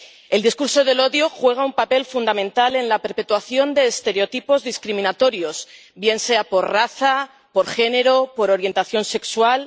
El discurso del odio juega un papel fundamental en la perpetuación de estereotipos discriminatorios, bien sea por raza, por género, por orientación sexual.